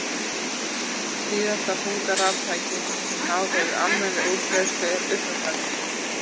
Síðasta þunga raftækið sem náð hefur almennri útbreiðslu er uppþvottavélin.